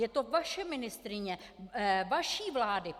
Je to vaše ministryně vaší vlády.